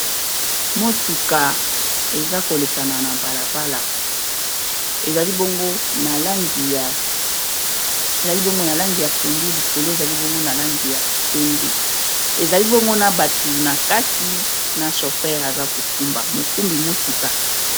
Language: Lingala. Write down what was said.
Motuka eza kolekana na bala bala ezali bongo na langi ya pondu likolo ezali bongo na langi ya pembe, ezali bongo na batu na kati na chauffeur aza ko kumba mokumbi motuka.